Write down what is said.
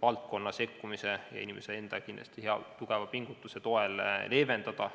valdkonna sekkumise ja inimese enda hea tugeva pingutuse toel leevendada.